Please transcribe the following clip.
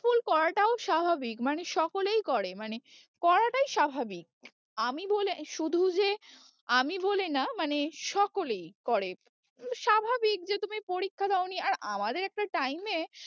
pull করাটাও স্বাভাবিক মানে সকলেই করে মানে করাটাই স্বাভাবিক আমি বলে, শুধু যে আমি বলে না মানে সকলেই করে, স্বাভাবিক যে তুমি পরীক্ষা দাও নি আর আমাদের একটা time এ